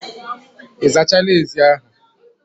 Ị zachala ezi ahụ